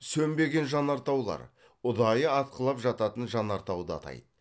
сөнбеген жанартаулар ұдайы атқылап жататын жанартауды атайды